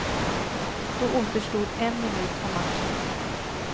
Då återstod en minut av matchen.